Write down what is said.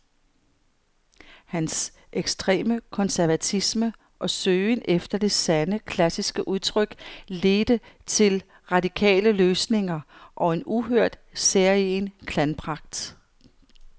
Hans ekstreme konservatisme og søgen efter det sande, klassiske udtryk ledte til radikale løsninger og en uhørt, særegen klangpragt.